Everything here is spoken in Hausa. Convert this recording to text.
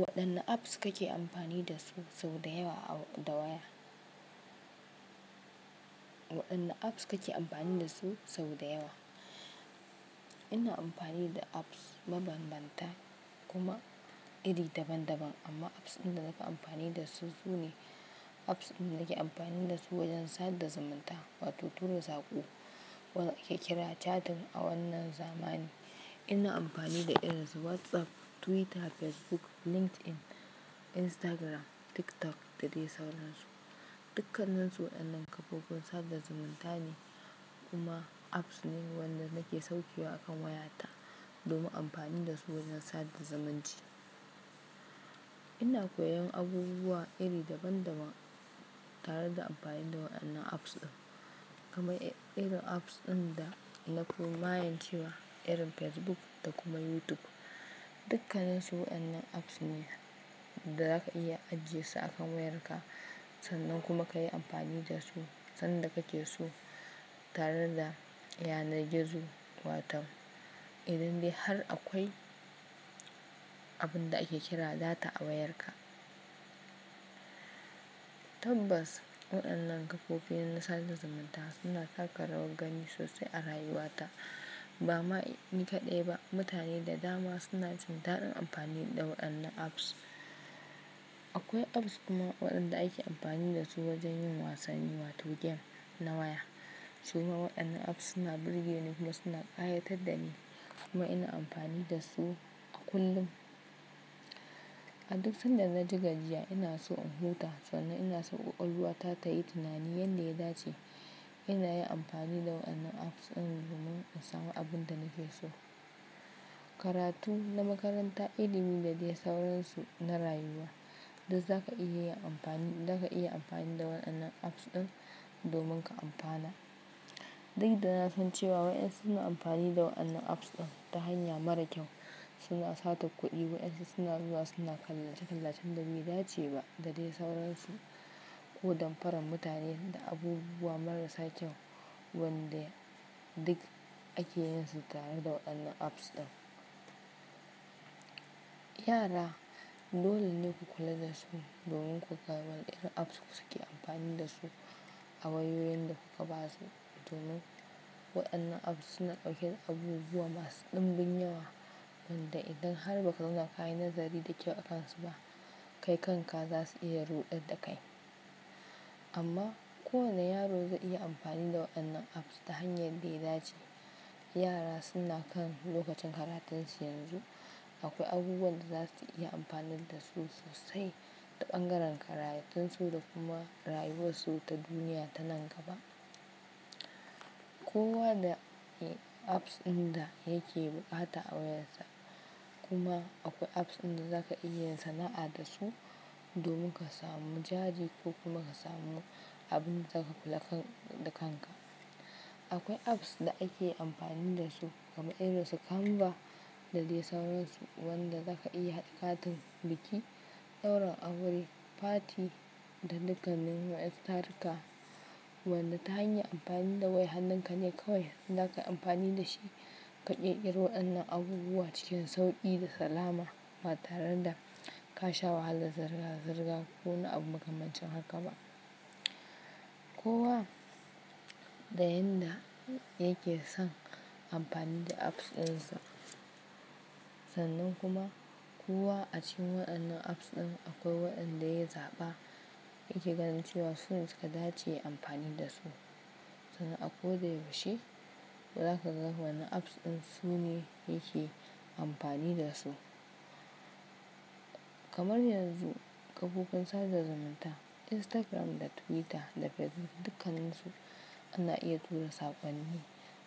Waɗanne apps kake amfani da su sau da yawa a waya? Waɗanne apps kake amfani da su sau da yawa? Ina amfani da apps mabanbanta kuma iri daban-daban amma apps inda nake amfani da su su ne apps inda nake amfani da su wajen sadar zamanta wato tura saƙo ko ake kira chatting a wannan zamani. Ina amfani da irin su WhatsApp, Twitter, Facebook, LinkedIn, Instagram, TikTok da dai sauransu. Dukkanansu waɗannan kafofin sadar zamanta ne kuma apps ne waɗanda nake sauke wa akan wayata domin amfani da su wajen sadar zamanci. Ina koyan abubuwa iri daban-daban tare da amfani da waɗannan apps ɗin. Kuma irin apps ɗin da na fi mayen cewa irin Facebook da kuma YouTube. Dukkanansu waɗannan apps ne da zaka iya ajiyesu a kan wayarka sannan kuma ka yi amfani da su sanda kake so tare da yanar gizo wato idande har akwai abun da ake kira data a wayarka. Tabbas waɗannan kafofin sadar zamanta suna sa ka rawa gani sosai a rayuwata. Ba ma ni kaɗai ba mutane da dama suna jin daɗin amfani da waɗannan apps. Akwai apps kuma waɗanda ake amfani da su wajen yin wasanni wato game na waya. Su ma waɗannan apps suna burge ni kuma suna ƙayatar da ni kuma ina amfani da su a kullum. A duk sanda na jigajiya ina so in huta sannan ina so ƙwaƙwalwata tayi tunani yanda ya dace. Ina yin amfani da waɗannan apps ɗin domin in samu abin da nake so. Karatu na makaranta, ilimi da dai sauransu na rayuwa duk zaka iya amfani, zaka iya amfani da waɗannan apps ɗin domin ka amfana. Duk da na san cewa waɗansu suna amfani da waɗannan apps ɗin ta hanya mara kyau. Suna satar kuɗi, waɗansu suna zuwa suna kalla-kallacen dabi'a dace ba da dai sauransu. Ko damfara mutane da abubuwa marasa kyau waɗanda duk ake yinsu tare da waɗannan apps ɗin. Yara dole ne ku kula da su domin ku ga waɗanne apps suke amfani da su a wayoyin da kuka ba su domin waɗannan apps suna ɗauke da abubuwa masu ɗimbin yawa wanda idan har ba ka zana ka yi nazari da kyau akansu ba kai kanka za su iya ruɗe da kai. Amma kowane yaro zai iya amfani da waɗannan apps ta hanyar da ya dace. Yara suna kan lokacin karatunsu yanzu akwai abubuwan da za su iya amfani da su sosai ta ɓangaren karantunsu da kuma rayuwarsu ta duniya ta nan gaba. Kowa da apps ɗin da yake buƙata a wayarsa kuma akwai apps ɗin da zaka iya yin sana'a da su domin ka samu jajiri ko kuma ka samu abin da zaka kula da kanka. Akwai apps da ake amfani da su kamar irin su Canva da dai sauransu waɗanda zaka iya haɗa katin biki, ɗaurin aure, fati da dukkanin masu tarka. Wanda ta hanyar amfani da wai hannunka ne kawai da ka yi amfani da shi ka ƙirƙiri waɗannan abubuwa cikin sauƙi da salama ba tare da ka sha wahala, zirga-zirga ko na abu makamancin haka ba. Kowa da yanda yake son amfani da apps ɗin sa sannan kuma kowa a cikin waɗannan apps ɗin akwai waɗanda ya zaɓa yake ganin cewa sune suka dace yi amfani da su. Sannan a ko da yaushe za ka ga wane apps ɗin sune yake amfani da su. Kamar yanzu kafofin sadar zamanta Instagram da Twitter da Facebook dukkanansu ana iya tura saƙonni